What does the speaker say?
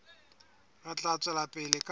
re tla tswela pele ka